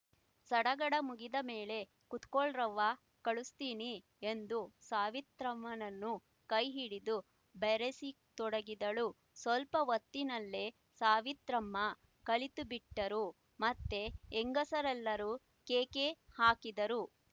ಸಡಗಡ ಮುಗಿದ ಮೇಲೆ ಕುತ್ಕಳ್ರವ್ವ ಕಲುಸ್ತೀನಿ ಎಂದು ಸಾವಿತ್ರಮ್ಮನ ಕೈ ಹಿಡಿದು ಬರೆಸತೊಡಗಿದಳು ಸ್ವಲ್ಪ ಹೊತ್ತಿನಲ್ಲೇ ಸಾವಿತ್ರಮ್ಮ ಕಲಿತುಬಿಟ್ಟರು ಮತ್ತೆ ಹೆಂಗಸರೆಲ್ಲರು ಕೇಕೆ ಹಾಕಿದರು